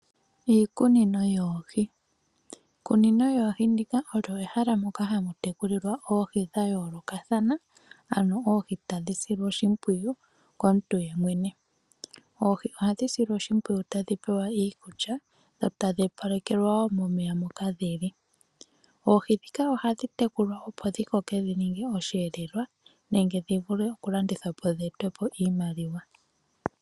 Iikunino yoohi ,iikunino yoohi ndika olyo ehala moka hamu tekulilwa oohi dha yoolokathana ano oohi tadhi silwa oshimpwiyu komuntu yemwene oohi ohadhi silwa oshimpwiyu tadhi pewa iikulya dho tadhi opalekelwa wo momeya moka dhili ,oohi dhika ohadhi tekulwa opo dhikoke dhi ninge osheelelwa nenge dhi vule okulandithwa po dhii ete po iimaliwa.